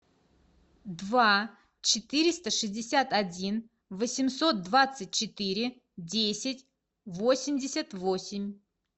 два четыреста шестьдесят один восемьсот двадцать четыре десять восемьдесят восемь